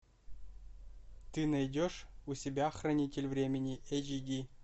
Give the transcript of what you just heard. ты найдешь у себя хранитель времени эйч ди